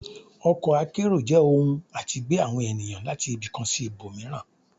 Ọkọ akẹ́ro jẹ ọhún atí gbe awọn enìyan latí ibì kán sí ìbomiirán